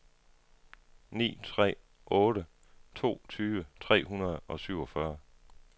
ni tre otte to tyve tre hundrede og syvogfyrre